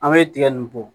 An bɛ tigɛ nin bɔ